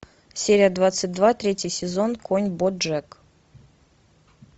серия двадцать два третий сезон конь боджек